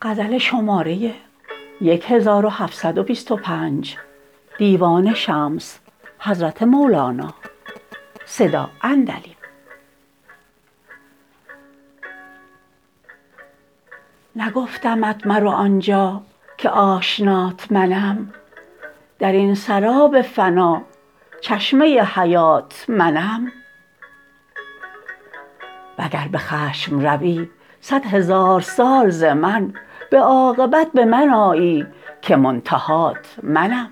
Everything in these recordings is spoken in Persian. نگفتمت مرو آنجا که آشنات منم در این سراب فنا چشمه حیات منم وگر به خشم روی صدهزار سال ز من به عاقبت به من آیی که منتهات منم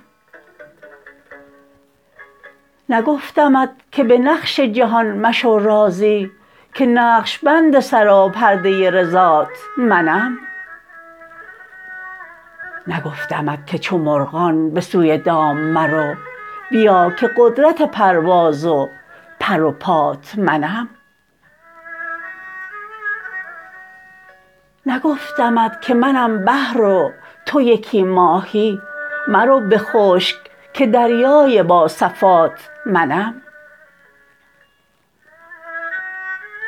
نگفتمت که به نقش جهان مشو راضی که نقش بند سراپرده رضات منم نگفتمت که منم بحر و تو یکی ماهی مرو به خشک که دریای با صفات منم نگفتمت که چو مرغان به سوی دام مرو بیا که قدرت پرواز و پر و پات منم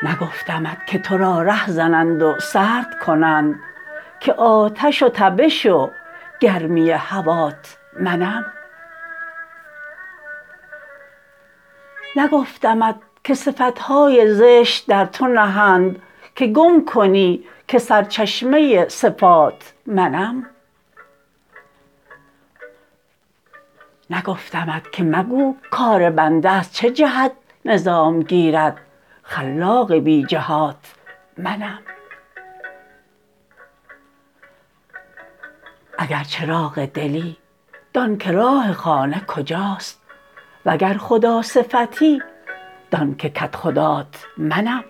نگفتمت که تو را ره زنند و سرد کنند که آتش و تبش و گرمی هوات منم نگفتمت که صفت های زشت در تو نهند که گم کنی که سر چشمه صفات منم نگفتمت که مگو کار بنده از چه جهت نظام گیرد خلاق بی جهات منم اگر چراغ دلی دان که راه خانه کجاست وگر خداصفتی دان که کدخدات منم